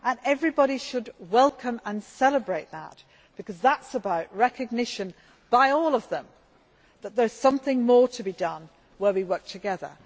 Everybody should welcome and celebrate that because that is about recognition by all of them that there is something more to be done where we work together.